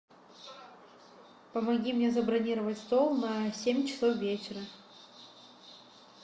помоги мне забронировать стол на семь часов вечера